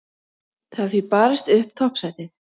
Það er því barist upp toppsætið.